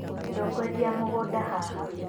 Ndũkwendia mũgũnda haha.